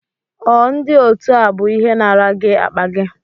ọ ndi otu a bu ihe nara gi akpa gi?